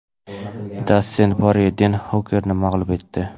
Dastin Porye Den Hukerni mag‘lub etdi.